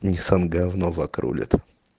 ниссан говно ваг рулит